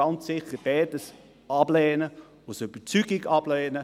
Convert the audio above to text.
Ich lehne ganz sicher beides ab und lehne es aus Überzeugung ab.